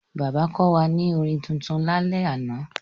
Bàbá kọ́ wa ní orin tuntun lálẹ́ àná.